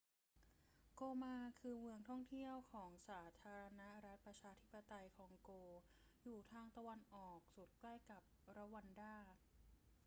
โกมา คือเมืองท่องเที่ยวของสาธารณรัฐประชาธิปไตยคองโก อยู่ทางตะวันออกสุดใกล้กับรวันดา